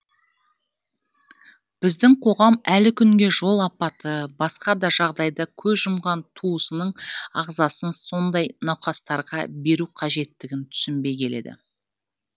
біздің қоғам әлі күнге жол апаты басқа да жағдайда көз жұмған туысының ағзасын сондай науқастарға беру қажеттігін түсінбей келеді